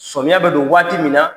Sɔmiya bɛ don waati min na